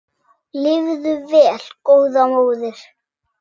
Lifðu vel góða móðir.